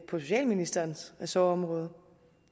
socialministerens ressortområde